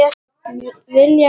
Vilja hlýju.